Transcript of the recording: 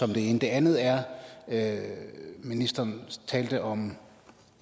det ene det andet er at ministeren talte om